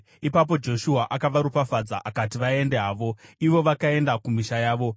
Ipapo Joshua akavaropafadza akati vaende havo, ivo vakaenda kumisha yavo.